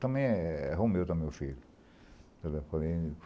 Também é é Romeu, também, o filho.